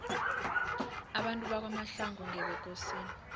abantu bakwamahlangu ngebekosini